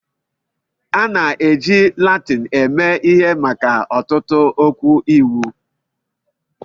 A na-ejikarị Latin eme ihe maka ọtụtụ okwu Iwu.